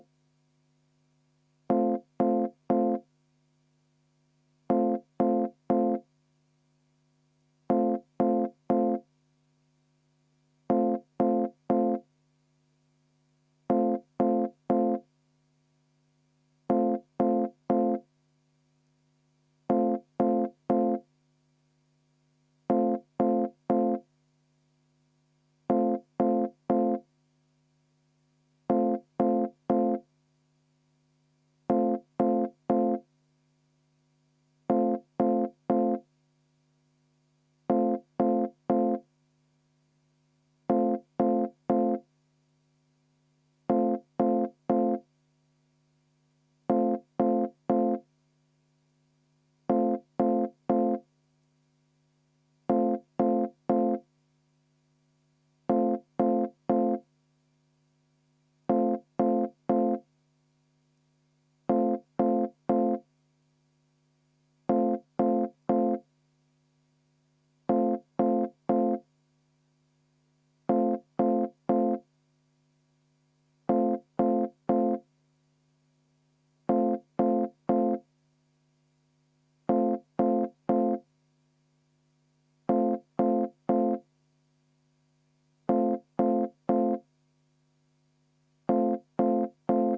V a h e a e g